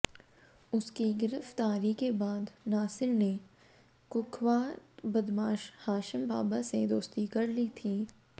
उसकी गिरफ्तारी के बाद नासिर ने कुख्यात बदमाश हाशिम बाबा से दोस्ती कर ली थी